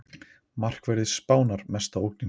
Markverðir Spánar mesta ógnin